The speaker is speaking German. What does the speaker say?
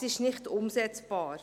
Es ist nicht umsetzbar.